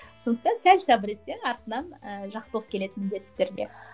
сондықтан сәл сыбыр етсең артынан ыыы жақсылық келеді міндетті түрде